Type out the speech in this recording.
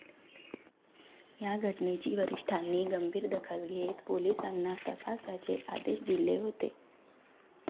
या घटनेची वरिष्ठांनी गंभीर दखल घेत पोलिसांना तपासाचे आदेश दिले होते.